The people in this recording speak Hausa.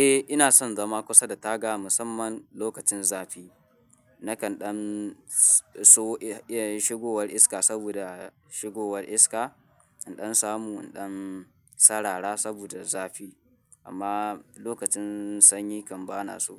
Eh ina son zama kusa da taga musamman lokacin zafi. Nakan ɗan so, eh shigowar iska saboda shigowar iska, inɗan samu inɗan sarara saboda zafi amma lokacin sanyi kan ba na so.